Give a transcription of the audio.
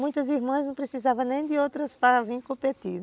Muitas irmãs não precisavam nem de outras para vir competir.